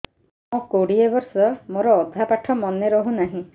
ମୋ କୋଡ଼ିଏ ବର୍ଷ ମୋର ଅଧା ପାଠ ମନେ ରହୁନାହିଁ